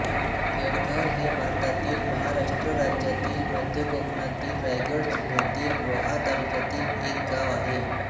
केळघर हे भारतातील महाराष्ट्र राज्यातील मध्य कोकणातील रायगड जिल्ह्यातील रोहा तालुक्यातील एक गाव आहे